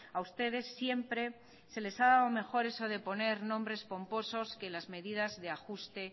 a ustedes siempre se les ha dado mejor eso de poner nombres pomposos que las medidas de ajuste